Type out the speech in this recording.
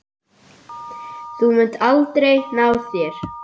Þú munt aldrei ná þér.